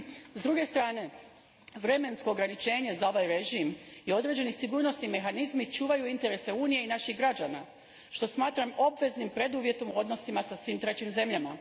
S druge strane, vremensko ograničenje za ovaj režim i određeni sigurnosni mehanizmi čuvaju interese unije i naših građana, što smatram obveznim preduvjetom u odnosima sa svim trećim zemljama.